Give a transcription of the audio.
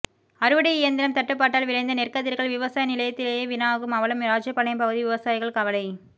அறுவடை இயந்திரம் தட்டுப்பாட்டால் விளைந்த நெற்கதிர்கள் விவசாய நிலத்திலேயே வீணாகும் அவலம் ராஜபாளையம் பகுதி விவசாயிகள் கவலை